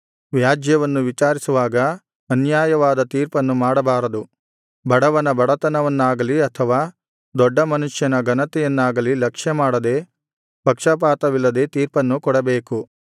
ವ್ಯಾಜ್ಯವನ್ನು ವಿಚಾರಿಸುವಾಗ ಅನ್ಯಾಯವಾದ ತೀರ್ಪನ್ನು ಮಾಡಬಾರದು ಬಡವನ ಬಡತನವನ್ನಾಗಲಿ ಅಥವಾ ದೊಡ್ಡ ಮನುಷ್ಯನ ಘನತೆಯನ್ನಾಗಲಿ ಲಕ್ಷ್ಯಮಾಡದೆ ಪಕ್ಷಪಾತವಿಲ್ಲದೆ ತೀರ್ಪನ್ನು ಕೊಡಬೇಕು